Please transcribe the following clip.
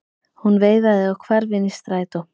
Hún veifaði og hvarf inn í strætó.